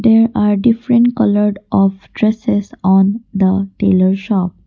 there are different coloured of dresses on the tailor shop.